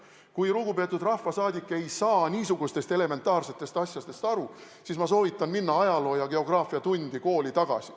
Kui lugupeetud rahvasaadik ei saa niisugustest elementaarsetest asjadest aru, siis ma soovitan minna ajaloo- ja geograafiatundi kooli tagasi.